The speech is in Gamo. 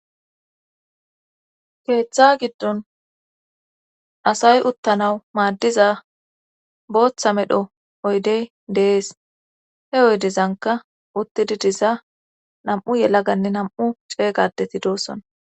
keeththa giddon asay uttanawu maaddiza booththa medho oydey deees he oydizanka uttidi diza nam7u yelaganne nam7u ceeygadeti doosona